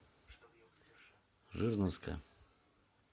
жирновска